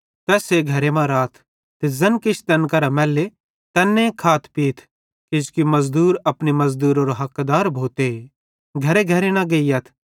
तैस्से घरे मां राथ ते ज़ैन किछ तैन करां मैल्ले तैन्ने खाथपीथ किजोकि मज़दूर अपनी मज़दूरारो हकदार भोते घरेघरे न गेइयथ